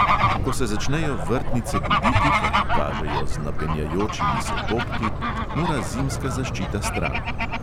Ko se začnejo vrtnice buditi, kar pokažejo z napenjajočimi se popki, mora zimska zaščita stran.